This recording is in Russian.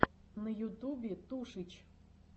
на ютубе тушич